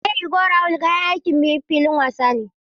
Meri go rawul kayan aikin filin wasa ne.